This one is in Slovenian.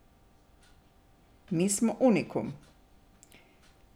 Mi smo unikum.